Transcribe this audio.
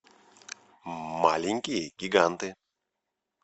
маленькие гиганты